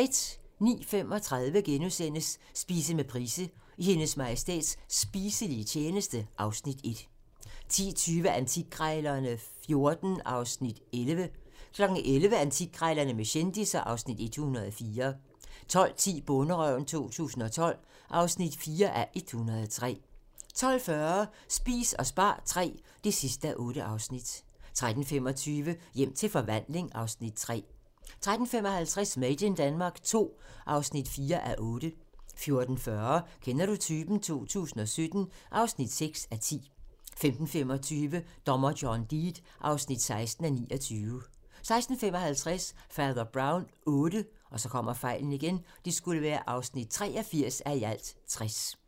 09:35: Spise med Price - I Hendes Majestæts spiselige tjeneste (Afs. 1)* 10:20: Antikkrejlerne XIV (Afs. 11) 11:00: Antikkrejlerne med kendisser (Afs. 104) 12:10: Bonderøven 2012 (4:103) 12:40: Spis og spar III (8:8) 13:25: Hjem til forvandling (Afs. 3) 13:55: Made in Denmark II (4:8) 14:40: Kender du typen? 2017 (6:10) 15:25: Dommer John Deed (16:29) 16:55: Fader Brown VIII (83:60)